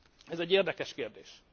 Ez egy érdekes kérdés.